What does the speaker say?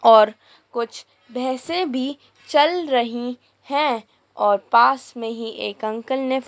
और कुछ भैसे भी चल रही है और पास में ही एक अंकल ने--